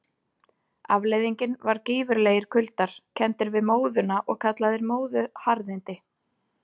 Afleiðingin var gífurlegir kuldar, kenndir við móðuna og kallaðir móðuharðindi.